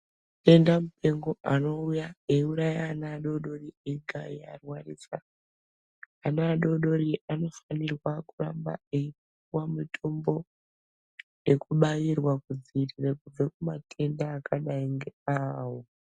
Denda mupengo anouya eiuraya ana adodori ega eiarwarisa. Ana adodori anofanirwa kuramba eipuwa mitombo yekubairwa kudziirira kubva kumatenda akadai ngeawo.